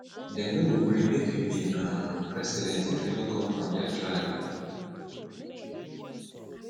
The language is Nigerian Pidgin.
dem no go gree make you be um president if you no come from their tribe